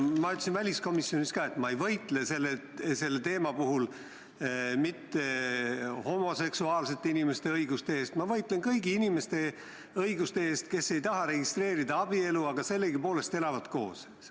Ma ütlesin ka väliskomisjonis, et ma ei võitle selle teema puhul mitte homoseksuaalsete inimeste õiguste eest, vaid ma võitlen kõigi inimeste õiguste eest, kes ei taha abielu registreerida, aga sellegipoolest elavad koos.